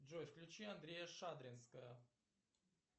джой включи андрея шадринского